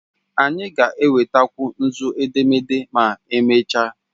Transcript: Anyị ga-enwetakwu nzu edemede ma emechaa.